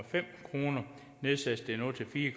kr nedsættes det nu til fire